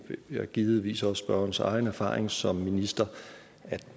er givetvis også spørgerens egen erfaring som minister